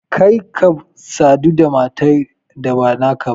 Kar ka sadu da matar da ba naka ba!